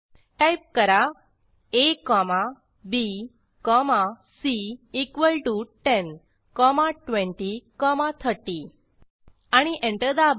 type करा a comma b comma c equal to 10 comma 20 comma 30 आणि enter दाबा